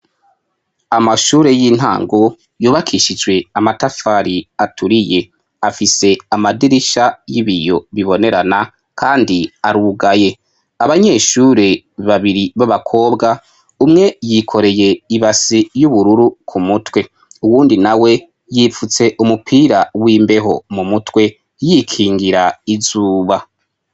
amashure y'intango yubakishijwe amatafari aturiye afise amadirisha y'ibiyo bibonerana kandi arugaye abanyeshure babiri b'abakobwa umwe yikoreye ibasi y'ubururu ku mutwe uwundi na we yipfutse umupira w'imbeho mu mutwe yikingira izuba